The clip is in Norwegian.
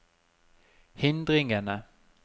hindringene